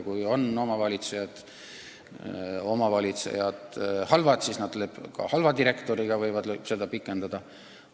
Kui omavalitsejad on halvad, siis nad lepivad ka halva direktoriga ja võivad tema lepingut pikendada.